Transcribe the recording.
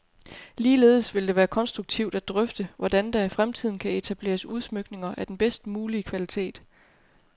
Ligeledes vil det være konstruktivt at drøfte, hvordan der i fremtiden kan etableres udsmykninger af den bedst mulige kvalitet.